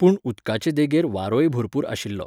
पूण उदकाचे देगेर वारोय भरपूर आशिल्लो.